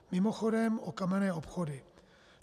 Mimochodem o kamenné obchody.